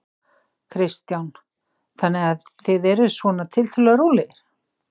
Kristján: Þannig að þið eruð svona tiltölulega rólegir?